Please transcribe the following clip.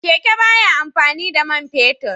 Keke ba ya amfani da man fetur